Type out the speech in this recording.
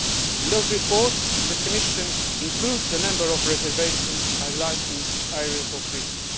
In those reports, the Commission includes a number of reservations highlighting areas of risk.